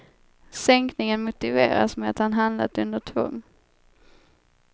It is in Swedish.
Sänkningen motiveras med att han handlat under tvång.